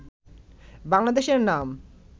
বাংলাদেশের নাম